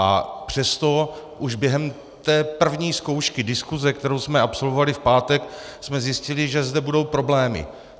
A přesto už během té první zkoušky diskuse, kterou jsme absolvovali v pátek, jsme zjistili, že zde budou problémy.